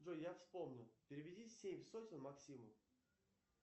джой я вспомнил переведи семь сотен максиму